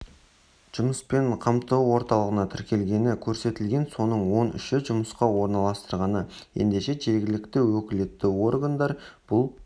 жұмыспен қамту орталығына тіркелгені көрсетілген соның он үші жұмысқа орналастырылған ендеше жергілікті өкілетті органдар бұл